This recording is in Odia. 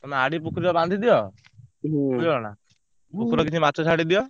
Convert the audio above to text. ତମେ ଆଡି ପୋଖରୀରେ ବାନ୍ଧିଦିଅ ବୁଝିଲ ନା ପୋଖରୀ ରେ କିଛି ମାଛ ଛାଡିଦିଅ।